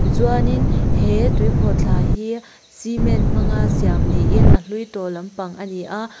tichuanin he tuikhawhthla hi cement hmang a siam niin a hlui tawh lampang ani a.